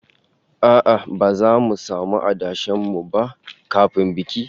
A'a, ba zamu samu adashen mu ba kafin bikin